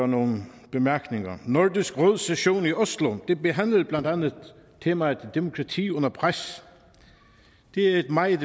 nogle bemærkninger nordisk råds session i oslo behandlede blandt andet temaet demokrati under pres og det er et meget